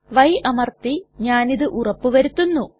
y അമർത്തി ഞാനിതു ഉറപ്പു വരുത്തുന്നു